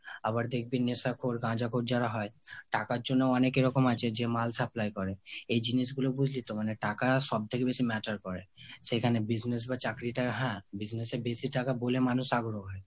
আবার দেখবি নেশাখোর গাঁজাখোর যারা হয় টাকার জন্যও অনেকে আছে যে মাল supply করে। এই জিনিসগুলো বুঝলি তো মানে টাকা সব থেকে বেশি matter করে। সেখানে business বা চাকরি টা হ্যাঁ, business এ বেশি টাকা বলে মানুষ আগ্রহ পায়।